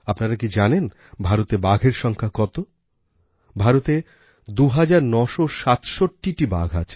আপনারা কি জানেন ভারতে বাঘের সংখ্যা কতভারতে ২৯৬৭টি বাঘ আছে